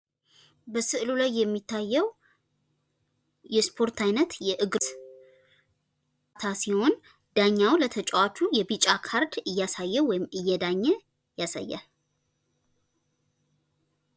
በስዕሉ ላይ የሚታየው የእስፖርት አይነት የእግር ኳስ ሲህን ዳኛው ለተጫዋቹ የቢጨ ካርድ እያሳየው ወይም እየዳኘ ያሳያል።